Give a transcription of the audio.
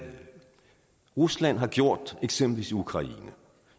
rusland har gjort eksempelvis ukraine